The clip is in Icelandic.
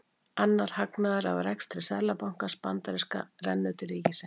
Annar hagnaður af rekstri seðlabankans bandaríska rennur til ríkisins.